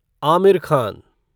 Aamir Khan